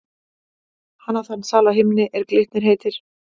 Hann á þann sal á himni, er Glitnir heitir.